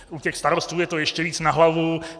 U těch starostů je to ještě víc na hlavu.